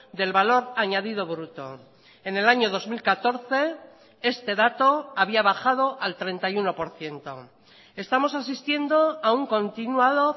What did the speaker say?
del valor añadido bruto en el año dos mil catorce este dato había bajado al treinta y uno por ciento estamos asistiendo a un continuado